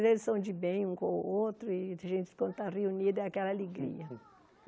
Eles são de bem, um com o outro, e a gente quando está reunido é aquela alegria.